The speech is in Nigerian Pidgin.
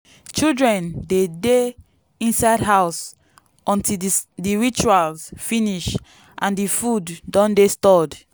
children dey dey inside house until di rituals finish and di food don dey stored.